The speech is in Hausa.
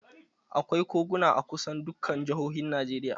Akwai koguna a kusan dukkan jihohin Najeriya